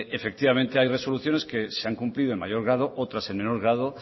efectivamente hay resoluciones que se han cumplido en mayor grado otras en menor grado